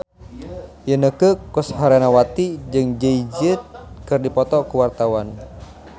Inneke Koesherawati jeung Jay Z keur dipoto ku wartawan